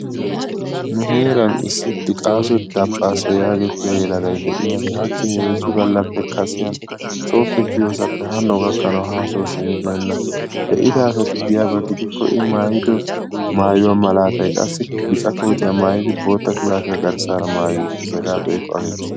Nu heeran issi Diqqasso Daphphaassa yagetiya heeraa na'ay de'iyagee hachchi heezzu gallappe kasiyan sooppe kiyossappe hano gakkanawu haraa haa sosimmibeenna, be'idaa asati diyaba gidikko I maayiddo maayuwa malaatay qassi bicca kootiya maayidi boottaa shuraabiya garssara mayi uttiis hegaa beiikko ane erssitte.